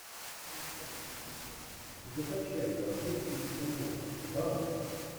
закачай бандитский петербург барон